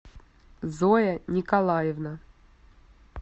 зоя николаевна